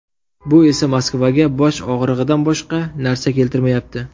Bu esa Moskvaga bosh og‘rig‘idan boshqa narsa keltirmayapti.